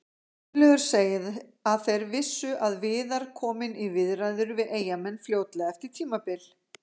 Gunnlaugur segir að þeir vissu að Viðar kominn í viðræður við Eyjamenn fljótlega eftir tímabil.